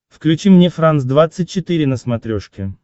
включи мне франс двадцать четыре на смотрешке